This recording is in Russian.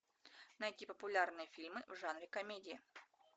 найти популярные фильмы в жанре комедия